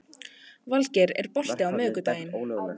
Vilgeir, er bolti á miðvikudaginn?